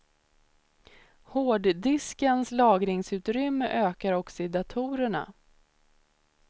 Hårddiskens lagringsutrymme ökar också i datorerna.